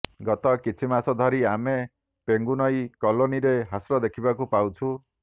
ଗତ କିଛି ମାସ ଧରି ଆମେ ପେଙ୍ଗୁନଇ କଲୋନୀରେ ହ୍ରାସ ଦେଖିବାକୁ ପାଉଛୁ